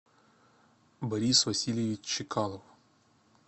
борис васильевич чикалов